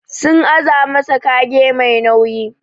Sun aza masa kage Mai nauyi.